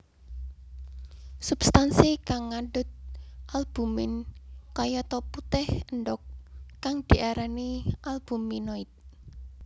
Substansi kang ngandhut albumin kayata putih endhog kang diarani albuminoid